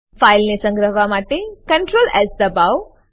ફાઈલને સંગ્રહવા માટે CtrlS દબાવો